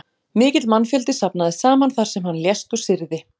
Mikill mannfjöldi safnaðist saman þar sem hann lést og syrgði.